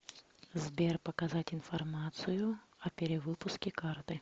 сбер показать информацию о перевыпуске карты